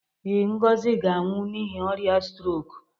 Ee, Ngozi ga-anwụ n'ihi ọrịa strok.